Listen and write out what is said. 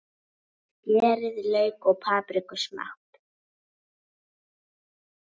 Skerið lauk og papriku smátt.